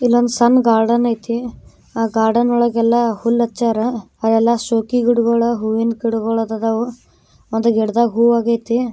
ಇಲ್ಲೊಂದು ಸಣ್ಣ ಗಾರ್ಡನ್ ಐತಿ ಆ ಗಾರ್ಡನ್ ಒಳಗೆಲ್ಲ ಉಲ್ ಅಚ್ಚಾರ ಅವೆಲ್ಲ ಶೋ ಗಿಡಗಳು ಹೂವಿನ ಗಿಡಗಳು ಇದಾವೋ ಒಂದು ಗಿಡದಾಗೆ ಹೂವಾಗಿದೆ.